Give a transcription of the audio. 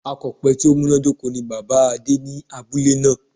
Akòpe tí ó múnádóko ni Bàbáa Adé ní abúlé náà